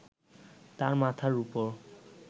তার মাথার উপর